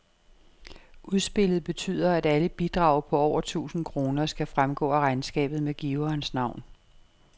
Udspillet betyder, at alle bidrag på over tusind kroner skal fremgå af regnskabet med giverens navn.